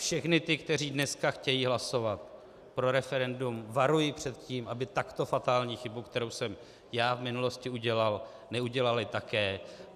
Všechny ty, kteří dneska chtějí hlasovat pro referendum, varuji před tím, aby takto fatální chybu, kterou jsem já v minulosti udělal, neudělali také.